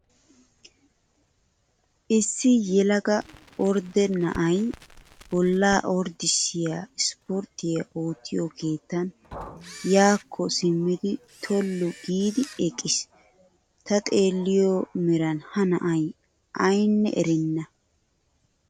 Isssi yelaga ordde na'ayi bolla orddissiyaa ispporttiyaa oottiyoo keettan yaakko simmidi tollu giidi eqqis. Ta xeelliyo meran ha na'ayi ayinne erenna.